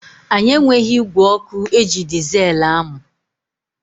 Anyị enweghị ígwè ọkụ eji dizeelu amụ.